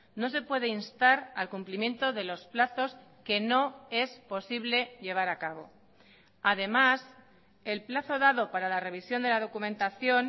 no se puede instar al cumplimiento de los plazos que no es posible llevar a cabo además el plazo dado para la revisión de la documentación